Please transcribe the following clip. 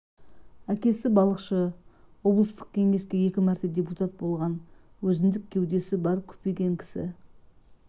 әкесі балықшы облыстық кеңеске екі мәрте депутат болған өзіндік кеудесі бар күпиген кісі